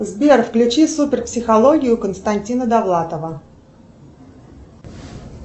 сбер включи супер психологию константина довлатова